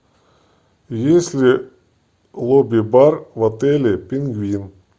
есть ли лобби бар в отеле пингвин